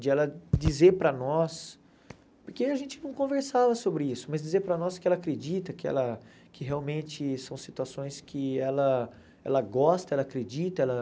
De ela dizer para nós, porque a gente não conversava sobre isso, mas dizer para nós que ela acredita, que ela que realmente são situações que ela ela gosta, ela acredita ela.